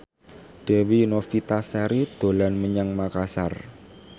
Dewi Novitasari dolan menyang Makasar